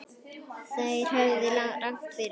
Þeir höfðu rangt fyrir sér.